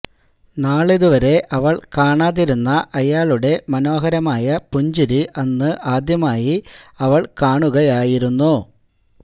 നാളിതുവരെ അവള് കാണാതിരുന്ന അയാളുടെ മനോഹരമായ പുഞ്ചിരി അന്ന് ആദ്യമായി അവള് കാണുകയായിരുന്നു